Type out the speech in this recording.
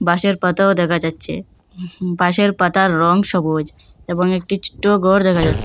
বাশের পাতাও দেকা যাচ্চে বাশের পাতার রং সবুজ এবং একটি ছোট্ট ঘর দেখা যা--